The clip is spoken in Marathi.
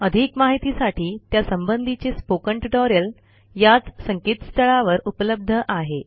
अधिक माहितीसाठी त्या संबधीचे स्पोकन ट्युटोरियल याच संकेतस्थळावर उपलब्ध आहे